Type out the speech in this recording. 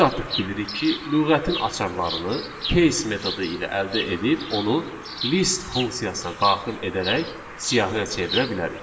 Biz artıq bilirik ki, lüğətin açarlarını keys metodu ilə əldə edib onu list funksiyasına daxil edərək siyahıya çevirə bilərik.